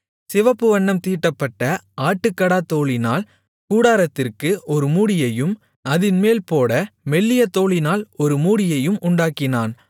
சிவப்பு வண்ணம் தீட்டப்பட்ட ஆட்டுக்கடாத்தோலினால் கூடாரத்திற்கு ஒரு மூடியையும் அதின்மேல் போட மெல்லிய தோலினால் ஒரு மூடியையும் உண்டாக்கினான்